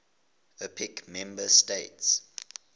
opec member states